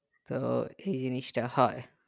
তো এই জিনিস তা হয়